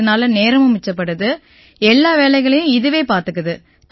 இதனால நேரமும் மிச்சப்படுது எல்லா வேலைகளையும் இதுவே பார்த்துக்குது